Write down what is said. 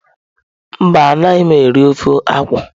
Mba anaghị m eri ofe akwụ.